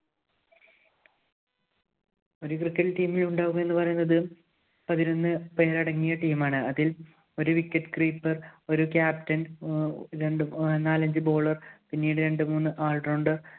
ഒരു cricket team ഇല്‍ ഉണ്ടാവുമെന്നു പറയുന്നത് പതിനൊന്ന് പേരടങ്ങിയ team ആണ്. അതില്‍ ഒരു wicket keeper, ഒരു captain, ആഹ് രണ്ടു നാലഞ്ച് bowler പിന്നീടു രണ്ടു മൂന്ന് all rounder